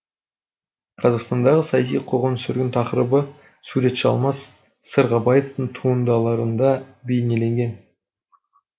қазақстандағы саяси қуғын сүргін тақырыбы суретші алмас сырғабаевтың туындыларында бейнеленген